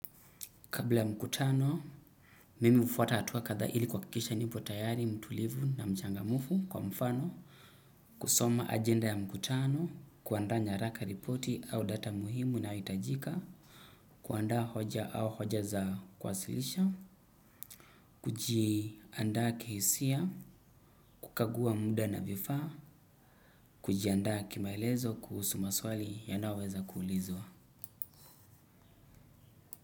Kabla mkutano, mimi hufuata hatua kadhaa ili kuhakikisha nipo tayari, mtulivu na mchanga mufu kwa mfano, kusoma agenda ya mkutano, kuanda nyaraka ripoti au data muhimu inayohitajika kuanda hoja au hoja za kuwasilisha, kujianda kihisia, kukagua muda na vifaa, kujianda kimaelezo kuhusu maswali yanayoweza kuulizwa.